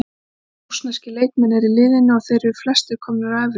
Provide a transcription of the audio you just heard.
Margir rússneskir leikmenn eru í liðinu og eru þeir flestir komnir á efri ár.